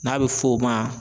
N'a bi f'o ma